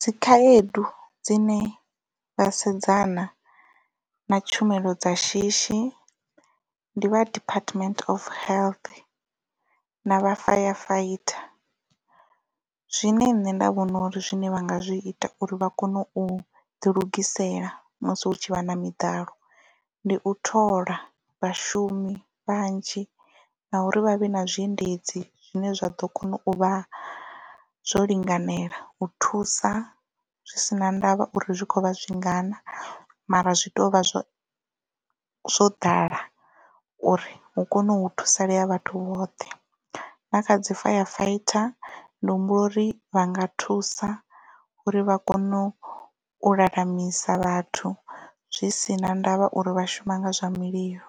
Dzikhaedu dzine vha sedzana na tshumelo dza shishi ndi vha department of health na vha firefighter zwine nṋe nda vhona uri zwine vha nga zwi ita uri vha kone u ḓilugisela musi hu tshi vha na miḓalo ndi u thola vhashumi vhanzhi na uri vha vhe na zwiendedzi zwine zwa ḓo kona u vha zwo linganela u thusa zwi si na ndavha uri zwi khovha zwingana mara zwi tovha zwo zwo ḓala uri hu kone u thusalea vhathu vhoṱhe na kha dzi firefighter ndi humbula uri vha nga thusa uri vha kone u u lalamisa vhathu zwi sina ndavha uri vha shuma nga zwa mililo